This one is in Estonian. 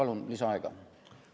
Palun lisaaega!